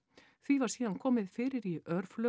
því var síðan komið fyrir í